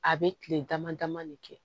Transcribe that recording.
A bɛ kile dama dama de kɛ